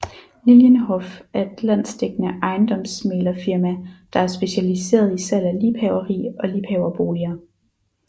Lilienhoff er et landsdækkede ejendomsmæglerfirma der er specialiseret i salg af liebhaveri og liebhaverboliger